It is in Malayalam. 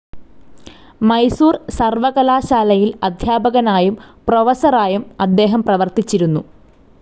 മൈസൂർ സർവ്വകലാശാലയിൽ അദ്ധ്യാപകനായും പ്രൊഫസറായും അദ്ദേഹം പ്രവർത്തിച്ചിരുന്നു.